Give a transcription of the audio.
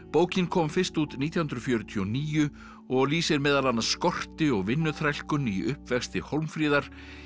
bókin kom fyrst út nítján hundruð fjörutíu og níu og lýsir meðal annars skorti og vinnuþrælkun í uppvexti Hólmfríðar